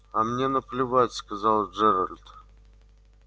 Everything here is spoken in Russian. а мне наплевать сказал джералд